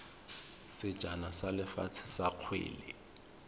sejana sa lefatshe sa kgwele